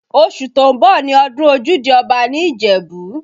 Oṣù tó ń bọ̀ ni ọdún ojúde Ọba ní Ìjẹ̀bú